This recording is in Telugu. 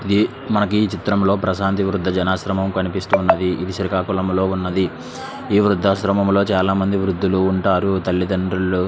ఇది మనకి ఈ చిత్రంలో ప్రశాంతి వృద్ధ జనాశ్రయం కనిపిస్తూ ఉన్నది. ఇది శ్రీకాకుళంలో ఉన్నది. ఈ వృద్ధాశ్రమంలో చాలా మంది వృద్ధులు ఉంటారు. తల్లిదండ్రులు--